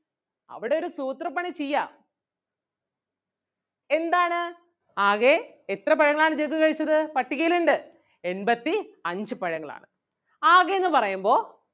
അവിടൊരു സൂത്രപ്പണി ചെയ്യാം എന്താണ് ആകെ എത്ര പഴങ്ങൾ ആണ് ജഗ്ഗു കഴിച്ചത് പട്ടികയിലിണ്ട്. എൺപത്തി അഞ്ച് പഴങ്ങൾ ആണ് ആകെ എന്ന് പറയുമ്പോ.